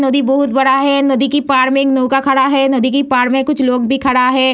नदी बहोत बड़ा है नदी के पार में एक नौका खड़ा है नदी के पार में कुछ लोग भी खड़ा है।